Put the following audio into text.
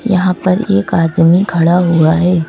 यहाँ पर एक आदमी खड़ा हुआ है।